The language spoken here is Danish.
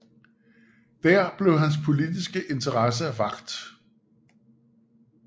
Der blev hans politiske interesse vakt